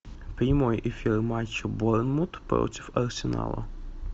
прямой эфир матча борнмут против арсенала